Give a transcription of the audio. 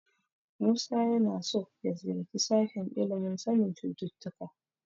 Musa yana so ya ziyarci sashen ilimin sanin cututtuka.